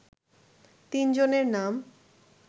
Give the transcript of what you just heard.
তিন জনের নাম